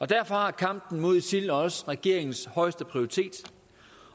derfor har kampen mod isil også regeringens højeste prioritet